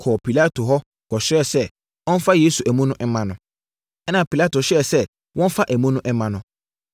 kɔɔ Pilato hɔ kɔsrɛɛ no sɛ ɔmfa Yesu amu no mma no. Ɛnna Pilato hyɛɛ sɛ wɔmfa amu no mma no.